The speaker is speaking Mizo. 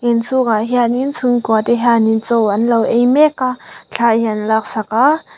inchhung ah hianin chhungkua te hianin chaw anlo ei mek a thla hi an lak sak a.